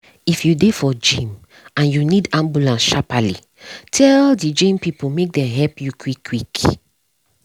if you dey for gym and you need ambulance sharply tell the gym people make dem help you quick quick.